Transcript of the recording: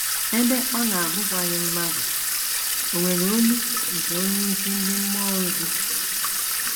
Ebe ọ na - abụkwaghị mmadụ, o nwere olu nke onyeisi ndị mmụọ ozi.